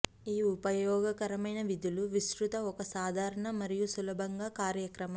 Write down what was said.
ఈ ఉపయోగకరమైన విధులు విస్తృత ఒక సాధారణ మరియు సులభంగా కార్యక్రమం